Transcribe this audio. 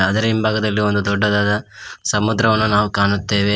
ಭಾಗದಲ್ಲಿ ದೊಡ್ಡದಾದ ಸಮುದ್ರ ನಾವು ಕಾಣುತ್ತೇವೆ.